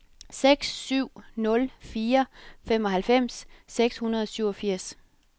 seks syv nul fire femoghalvfems seks hundrede og syvogfirs